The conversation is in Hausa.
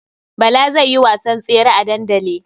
Bala zai yi wasan tsere a dandali.